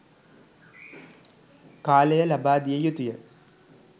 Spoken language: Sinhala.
කාලය ලබාදිය යුතුය